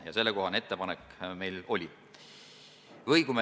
Ja sellekohane ettepanek meil oli.